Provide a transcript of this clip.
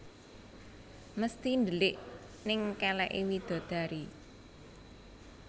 Mesti ndelik neng keleke widadari